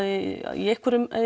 í einhverjum